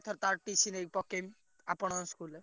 ତା TC ନେଇ ପକେଇବି ଆପଣଙ୍କ school ରେ।